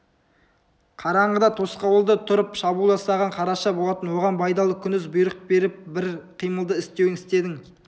қараңғыда тосқауылда тұрып шабуыл жасаған қараша болатын оған байдалы күндіз бұйрық беріп бір қимылды істеуін істедің